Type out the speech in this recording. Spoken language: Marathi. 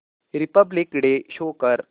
रिपब्लिक डे शो कर